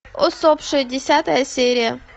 усопшие десятая серия